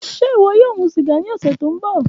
Ṣe iwọ yoo mu siga ni ọsẹ to nbọ?